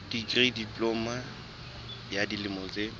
dikri diploma ya dilemo tse